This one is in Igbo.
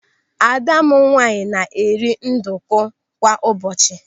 Ada m nwaanyị na-eri nduku kwa ụbọchị.